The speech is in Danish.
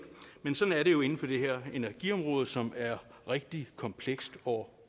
men sådan er det jo inden for det her energiområde som er rigtig komplekst og